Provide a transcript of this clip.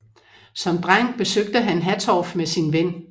Som dreng besøgte han Hattorf med sin ven